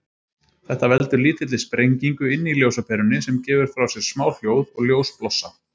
Þetta veldur lítilli sprengingu inni í ljósaperunni, sem gefur frá sér smá hljóð og ljósblossa.